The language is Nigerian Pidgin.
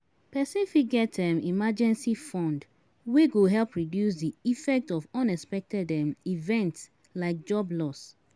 Person fit get emergency fund wey go help reduce di effect of unexpected events like job loss